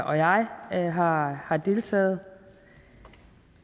og jeg har har deltaget